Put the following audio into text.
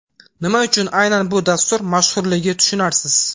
Nima uchun aynan bu dastur mashhurligi tushunarsiz.